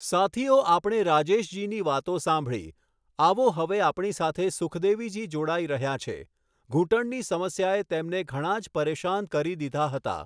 સાથીઓ, આપણે રાજેશજીની વાતો સાંભળી, આવો હવે આપણી સાથે સુખદેવીજી જોડાઈ રહ્યા છે, ઘૂંટણની સમસ્યાએ તેમને ઘણાં જ પરેશાન કરી દીધા હતા.